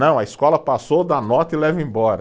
Não, a escola passou, dá nota e leva embora.